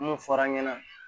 Mun fɔr'an ɲɛna